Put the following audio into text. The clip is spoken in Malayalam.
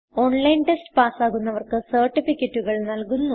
ഓൺലൈൻ ടെസ്റ്റ് പാസ്സാകുന്നവർക്ക് സർട്ടിഫികറ്റുകൾ നല്കുന്നു